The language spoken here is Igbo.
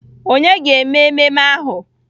Ònye ga-eme ememe ahụ?